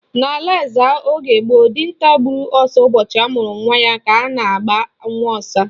N'ala Ezza oge gboo, dinta gburu ọsa ụbọchị amụrụ nwa ya ka a na-aba Nwaọsa.